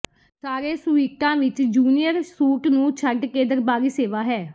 ਸਾਰੇ ਸੂਈਟਾਂ ਵਿੱਚ ਜੂਨੀਅਰ ਸੂਟ ਨੂੰ ਛੱਡ ਕੇ ਦਰਬਾਰੀ ਸੇਵਾ ਹੈ